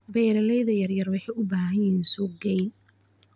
Beeralayda yar yar waxay u baahan yihiin suuq geyn.